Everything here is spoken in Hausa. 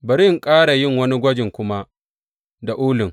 Bari in ƙara yin wani gwaji kuma da ulun.